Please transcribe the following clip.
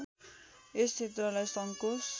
यस क्षेत्रलाई सङ्कोश